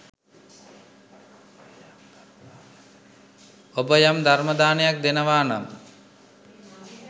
ඔබ යම් ධර්ම දානයක් දෙනවානම්